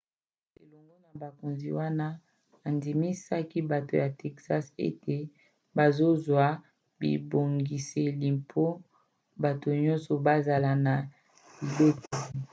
elongo na bakonzi wana andimisaki bato ya texas ete bazozwa bibongiseli mpo bato nyonso bazala na libateli